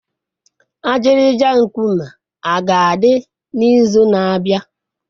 Ajịrịja nkume a ga-adị n'izu na-abịa?